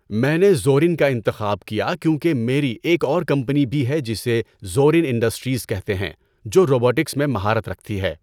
میں نے زورِن کا انتخاب کیا کیونکہ میری ایک اور کمپنی بھی ہے جسے زورِن انڈسٹریز کہتے ہیں جو روبوٹکس میں مہارت رکھتی ہے۔